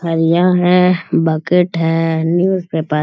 ठलिया है बकेट है newspaper --